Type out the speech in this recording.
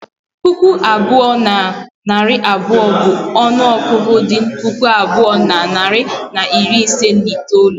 Puku abụọ na narị abụọ, bụ ọnụ ọgụgụ dị puku abụọ na narị na iri ise na itoolu